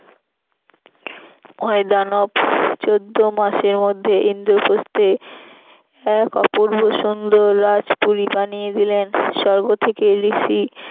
ময়দানব চোদ্দ মাসের মধ্যে ইন্দ্রপ্রস্থে এক অপূর্ব সুন্দর রাজপুরী বানিয়ে দিলেন স্বর্গ থেকে ঋষি